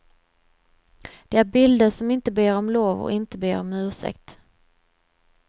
Det är bilder som inte ber om lov och inte ber om ursäkt.